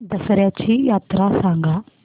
दसर्याची यात्रा सांगा